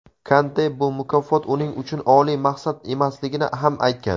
Kante bu mukofot uning uchun oliy maqsad emasligini ham aytgan.